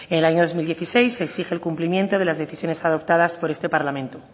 en el año dos mil dieciséis se exige el cumplimiento de las decisiones adoptadas por este parlamento